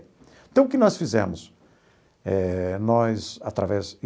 Então o que nós fizemos? Eh nós através